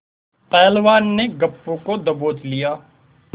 पहलवान ने गप्पू को दबोच लिया